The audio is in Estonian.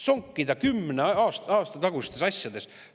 Sonkida kümne aasta tagustes asjades!